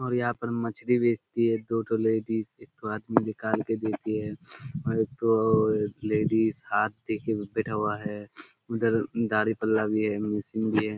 और यहाँ पर मछली बेचती है दो ठो लेडिस एक ठो आदमी के देती है और एक ठो लेडीज हाथ दे के बैठा हुआ है। उधर गाड़ी पर लादी है मशीन भी है।